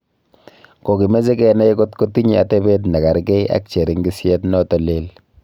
Kokimeche kenai kotkotinye atebet ne kargei ak cheringisyet noto leel